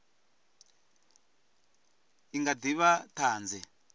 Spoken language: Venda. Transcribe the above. a nga ḓi vha ṱhanzi